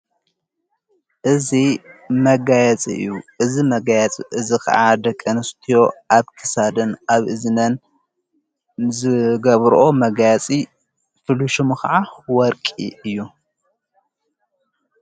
እዙ መጋያጽ እዩ እዝ መጋያጽ እዝ ኸዓ ደቀንስትዮ ኣብቲሳድን ኣብ እዝነን ዘገብርኦ መጋያጺ ፍሉሹሙ ኸዓ ወርቂ እዩ።